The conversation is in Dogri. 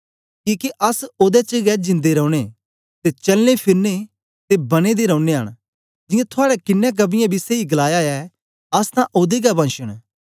किके अस ओदे च गै जिन्दे रौने ते चलने फिरने ते बनें दे रौनयां न जियां थुआड़े किन्नें कवियें बी सेई गलाया ऐ अस तां ओदे गै वंश न